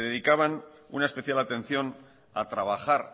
dedicaban una especial atención a trabajar